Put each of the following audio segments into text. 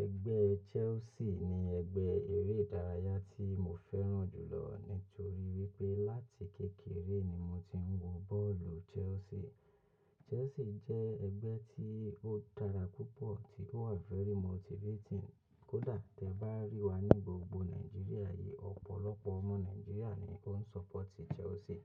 Ẹgbẹ́ Chelsea ni ẹgbẹ́ eré ìdárayá tí mo fẹ́ràn jù lọ nítorí wípé láti kékeré ni mo ti ń wo bọ́ọ̀lù Chelsea. Chelsea jẹ́ ẹgbẹ́ tí ó dára púpọ̀, tí ó wà very motivating. Kódà tí ẹ bá rí wa ní gbogbo Nàìjíríà yìí, ọ̀pọ̀lọpọ̀ ọmọ Nàìjíríà ni ó ń support Chelsea.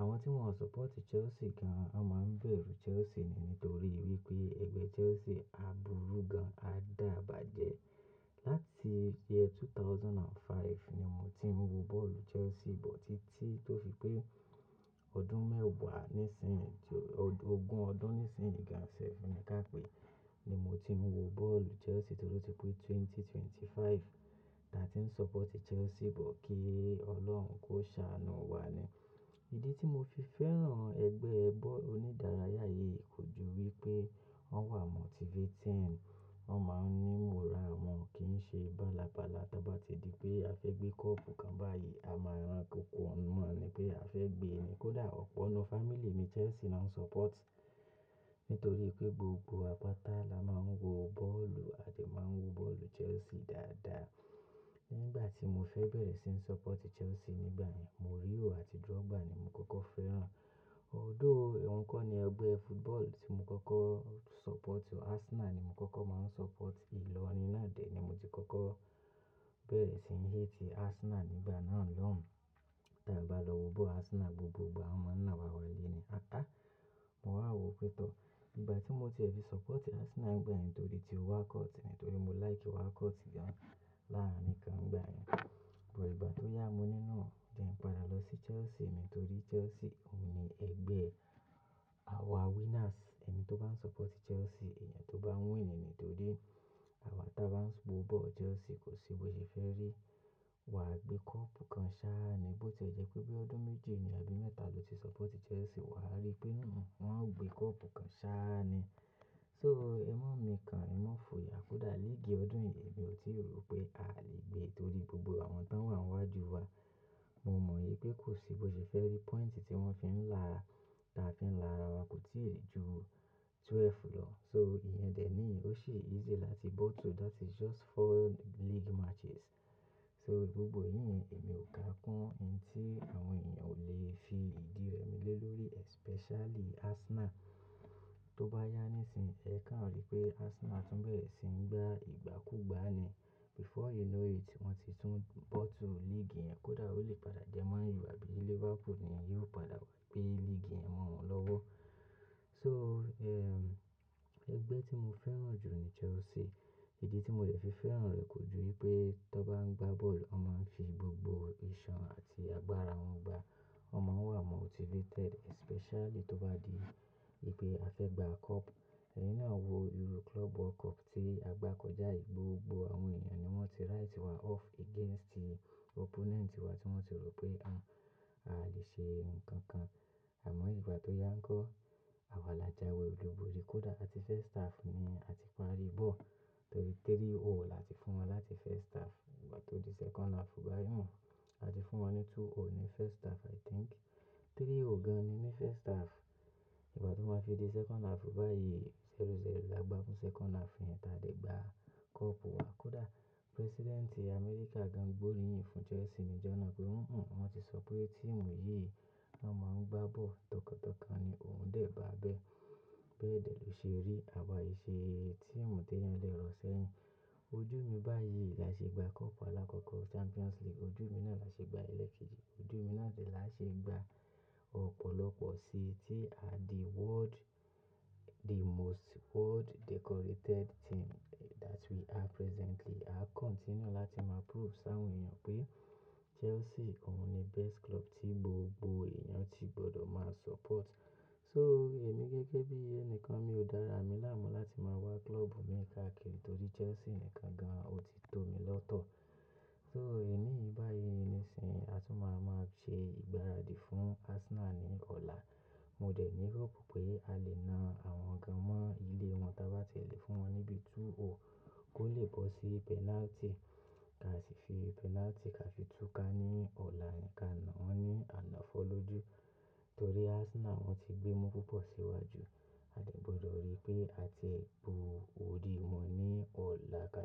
Àwọn tí wọ́n ò support Chelsea gan-an, wọ́n máa ń bẹ̀rù Chelsea ni nítorí wípé ẹgbẹ́ Chelsea a buru gan-an, a dáa bàjẹ́. Láti year two thousand and five ni mo ti ń wo bọ́ọ̀lù Chelsea, but títí tó fi pé ọdún mẹ́wàá nísìín yìí, ogún ọdún nísìín yìí gan-an sef ni ká pèé, ni mo ti ń wo bọ́ọ̀lù Chelsea torí ó ti pé ẹgbẹ̀rún méjì ó lé ẹ́ẹ́dọ́gbọ̀n. Táa ti ń support Chelsea, but kí Ọlọ́run kó ṣàánú wa ni. Ìdí tí mo fi fẹ́ràn ẹgbẹ́ ball-- onídárayá yìí kò ju wípé wọ́n wà motivating. Wọ́n máa ń ní ìmọ̀ra, wọn kì í ṣe bálabála. Tí a bá ti di pé a fẹ́ gbé cup kan báyìí, a máa rán ko ko wọn mọ̀ ni pé a fẹ́ gbé e ni. Kódà ọ̀pọ̀ ńnú fámílì mi Chelsea lọ́n ń support nítorí pé gbogbo wa pátá la máa ń wo bọ́ọ̀lù àti máa ń wo bọ́ọ̀lù Chelsea dáadáa. Nígbà tí mo fẹ́ bẹ̀rẹ̀ sí ń support Chelsea nígbà yẹn, Mourinho àti Drogba ni mo kọ́kọ́ fẹ́ràn. Although òun kọ́ ni ẹgbẹ́ football tí mo kọ́kọ́ ń support o. Arsenal ni mo kọ́kọ́ máa ń support. Ìlọrin náà dẹ̀ ni mo ti kọ́kọ́ bẹ̀rẹ̀ sí ń hate Arsenal nígbà náà lọ́hùn-ún Tí a bá lọ wo bọ́ọ̀lù Arsenal gbogbo ìgbà, wọ́n máa ń ná wa wálé ni. Atá, mo wà wòó pé tọ́ọ̀ Ìgbà tí mo ti è fi support Arsenal nígbà yẹn torí tí Walcott ni, torí mo like Walcott gan-an láàárín kan ńgbà yẹn. But ìgbà tó yá mo ní no, jẹ́ n padà lọ sí Chelsea nítorí Chelsea òun ni ẹgbẹ́ àwa winners. Ẹni tó bá ń support Chelsea, èèyàn tó bá ń win ni nítorí àwa tí a bá ń wo bọ́ọ̀lù Chelsea kò sí bó ṣe fẹ́ rí. Wa gbé cup kan sára ni. Bó tí ó jẹ́ pé bí ọdún méje ni àbí mẹ́ta lo ti support Chelsea, wa rí pé hù, hù, wọ́n á gbé cup kan sára ni. So, ẹmọ́ mi kan, ẹmọ́ fò yá. Kódà lé ìgi ọdún yìí, èmi ò tí rò pé a lè gbé torí gbogbo àwọn tó wà níwájú wa, mo mọ̀ pé kò sí bó ṣe fẹ́ rí. Point tí wọ́n fi ń là, táa fi ń là wa kò tíì ju twelve lọ. So, ìyẹn dẹ̀ ní ó sì easy láti bọ́ tò. That is just four league matches. So gbogbo ìyẹn èmi ò ká kún ohun tí àwọn èèyàn ò lè fi ìdí rẹ mi lé lórí especially Arsenal tó bá yá níìsín, ẹ ká ò rí pé Arsenal tún bẹ̀rẹ̀ sí ń gbá ìgbàkúgbà ni. Before you know it, wọ́n ti tún bọ́ tò league yẹn. Kódà ó lè padà jẹ́ Man Utd àbí Liverpool ni yóò padà wá gbé league yẹn mọ́ wọn lọ́wọ́. So, ehn, ẹgbẹ́ tí mo fẹ́ràn jù ni Chelsea. Ìdí tí mo lè fi fẹ́ràn rẹ̀ kò ju wípé tí wọ́n bá ń gbá bọ́ọ̀lù, wọ́n máa ń fi gbogbo iṣan àti agbára wọn gbá. Wọn máa ń wà motivated especially tí ó bá di pé a fẹ́ gbá cup. Ẹni náà wo Euro club world cup tí a gbá kọjá yìí, gbogbo àwọn èèyàn ni wọ́n ti write wa off against opponent wa tí wọ́n ti rò pé a, a lè ṣe nǹkan kan. Àmọ́ ìgbà tó yá ń kọ́, àwa là jáwọ́ olùborí. Kódà àti first half ni a ti parí bọ́ọ̀lù torí 3-0 là ti fún wọn láti first half. Ìgbà tí ó di second half báyìí mọ, a ti fún wọn ní 2-0 ní first half I think. 3-0 gan ni ní first half. Ìgbà tí wọ́n bá fi di second half báyìí, 0-0 là gbá fún second half yẹn. Tia dẹ̀ gbá cup wa. Kódà President Amẹ́ríkà gan gbórí yìn fún Chelsea níjọ́ náà pé "hù, hù, wọn ti sọ pé team yìí won máa ń gbá bọ́ọ̀lù tọkàntọkàn" ni òun dè bá bẹ́. Bẹ́ẹ̀ dẹ̀ ló ṣe rí àwa yí ṣe team tó yán lẹ́rọ̀ sẹ́yìn. Ojú mi báyìí là ṣe gbá cup alákọ̀ọ́kọ̀, Champions League ojú mi náà là ṣe gbá ilẹ̀ kejì, ojú mi náà dẹ̀ là ṣe gbá-- ọ̀pọ̀lọpọ̀ síi tí a di world-- the most world decorated team that we are presently. A continue láti máa prove sáwọn èèyàn pé Chelsea òun ni best club tí gbogbo èèyàn tí gbọ́dọ̀ máa support. So, èmi gẹ́gẹ́ bí ènìyàn kan, mi ò dára, èmi là mú láti máa wá club mi káàkiri torí Chelsea nìkan gan ó ti tó mi lọ́tọ̀. So, èní yìí báyìí nísìíyí a tún máa máa ṣe ìgbáradì fún Arsenal ní ọ̀la. Mo dẹ̀ ní hope pé a lè na àwọn kan mọ́ ilé wọn tí a bá ti lè fún wọn níbi 2-0 kó lè bọ́ sí penalty. Ká sì fi penalty, ká sì tú ká ní ọ̀la nìkan náà wọ́n ní àná fọ́ lójú. Torí Arsenal wọ́n ti gbé mọ́ púpọ̀ síwájú, a sì gbọ́dọ̀ rí pé a tie bo orí wọn ní ọ̀la káàkiri.